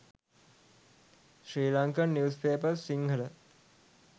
sri lankan news papers sinhala